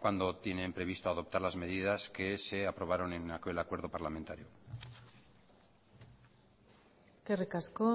cuándo tienen previsto adoptar las medidas que se aprobaron en aquel acuerdo parlamentario eskerrik asko